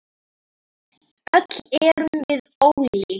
Öll erum við ólík.